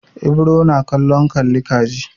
Ibro na kallon kalli ka ji.